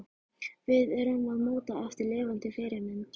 Við erum að móta eftir lifandi fyrirmynd.